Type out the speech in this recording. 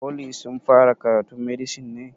Foli sun fara karatun medisin ne?